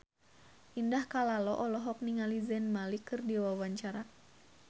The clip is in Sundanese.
Indah Kalalo olohok ningali Zayn Malik keur diwawancara